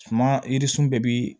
Suma yirisun bɛɛ bi